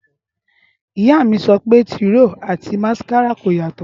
ìyá míí sọ pé tìróò àti másíkárà kò yàtọ̀.